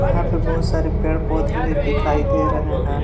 यहां पे बहुत सारे पेड़ पौधे भी दिखाई दे रहे हैं।